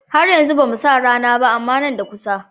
Har yanzu bamu sa rana ba. amma Nan da kusa